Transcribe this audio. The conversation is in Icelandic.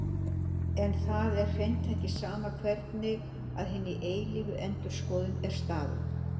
En það er hreint ekki sama hvernig að hinni eilífu endurskoðun er staðið.